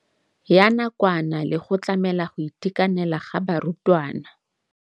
Ya nakwana le go tlamela go itekanela ga barutwana.